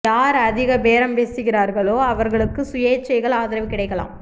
யார் அதிக பேரம் பேசுகிறார்களோ அவர்களுக்கு சுயேச்சைகள் ஆதரவு கிடைக்கலாம்